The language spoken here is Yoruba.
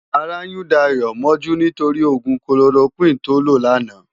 Àrá yún Dayo mòjú nitóri ógún kólórókwin tó ló làná